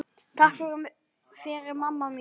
Takk fyrir mamma mín.